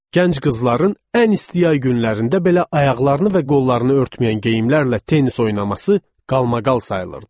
Gənc qızların ən isti ay günlərində belə ayaqlarını və qollarını örtməyən geyimlərlə tennis oynaması qalmaqal sayılırdı.